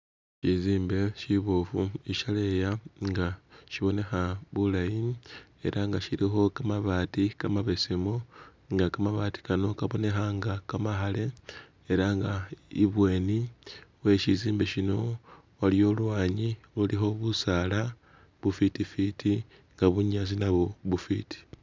Shizimbe shibofu ishaleya nga shibonekha bulayi era nga shilikho kamabaati kamabesemu nga kamabaati kano kabonekha nga kamakhale ela nga ibweni we shizimbe shino waliyo olwanyi lulikho busaala bufiti fiti nga bunyaasi nabwo bufiti